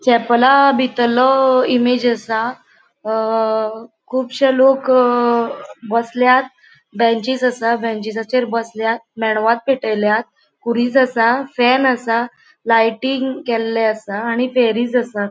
चेपेला बितलों इमेज असा अ कुबशे लोक बस्ल्यात बेंचिस असा बेनचीसचेर बस्ल्यात मेणवात पेटेल्या खुरिस असा फैन असा लाइटिंग केल्ले असा आणि असा.